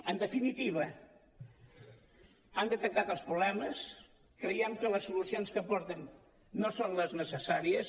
en definitiva han detectat els problemes creiem que les solucions que aporten no són les necessàries